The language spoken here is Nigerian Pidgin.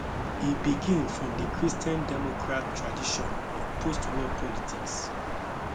e begin from di christian democrat tradition of postwar politics